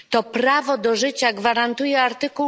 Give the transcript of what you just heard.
To prawo do życia gwarantuje art.